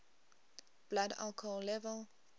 blood alcohol level